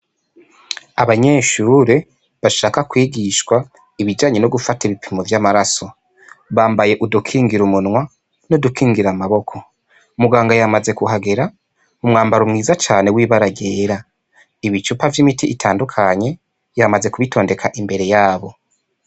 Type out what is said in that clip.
Abanyeshure bashaka kwigishwa ibijanye no gufata ibipimo vyamaraso bambaye udukingira umunwa n'udukingira amaboko muganga yamaze kuhagera umwambaro mwiza cane wibara ryera ibicupa vyimiti itandukanye yamaze kubitondeka imbere yabo.